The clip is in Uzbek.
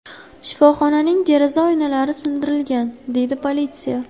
Shifoxonaning deraza oynalari sindirilgan”, – deydi politsiya.